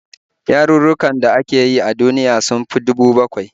Yarurrukan da ake yi a duniya sun fi 7,000